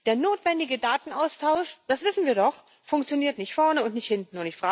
Der notwendige Datenaustausch das wissen wir doch funktioniert nicht vorne und nicht hinten.